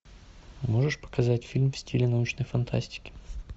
можешь показать фильм в стиле научной фантастики